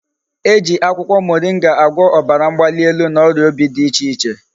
E ji akwukwo moringa agwo obara mgbalielu na oria obi di iche iche